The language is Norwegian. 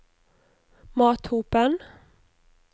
Mathopen